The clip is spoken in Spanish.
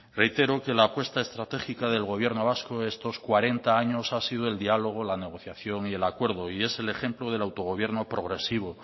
reitero que la apuesta estratégica del gobierno vasco estos cuarenta años ha sido el diálogo la negociación y el acuerdo y es el ejemplo del autogobierno progresivo